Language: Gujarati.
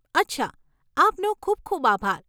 અચ્છા, આપનો ખૂબ ખૂબ આભાર.